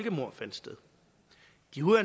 jo er